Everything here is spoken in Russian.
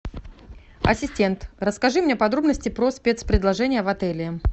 ассистент расскажи мне подробности про спецпредложения в отеле